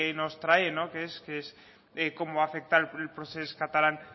nos trae que es cómo afecta el procés catalán